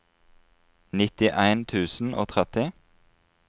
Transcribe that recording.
nittien tusen og tretti